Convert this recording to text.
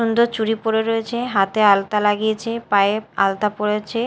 সুন্দর চুড়ি পরে রয়েছে হাতে আলতা লাগিয়েছে পায়ে আলতা পরেছে।